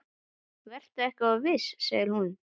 Vertu ekki of viss, segir hún.